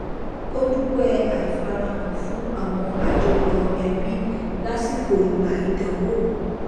ó dúpẹ àìfarahàn fún àwọn àjọyọ ẹbí lásìkò ìgbà ìdánwò